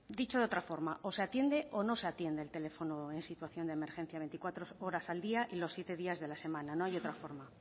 dicho de otra forma o se atiende o no se atiende el teléfono en situación de emergencia veinticuatro horas al día y los siete días de la semana no hay otra forma